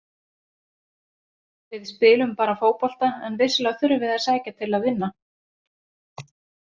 Við spilum bara fótbolta en vissulega þurfum við að sækja til að vinna.